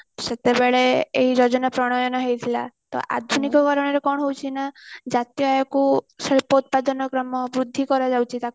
ସେତେ ବେଳେ ଏଇ ଯୋଜନା ପ୍ରଣୟନ ହେଇଥିଲା ତ ଆଜି କଣ ହଉଛି ନା ଯାତାୟକୁ ଶିଳ୍ପ ଉତ୍ପାଦନ କ୍ରମ ବୃଦ୍ଧି କରାଯାଉଛି